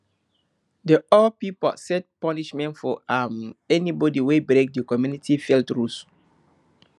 the old pipo set punishment for um anybody wey break the community field rules